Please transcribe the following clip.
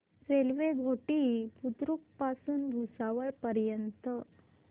railway Ghoti Budruk पासून भुसावळ पर्यंत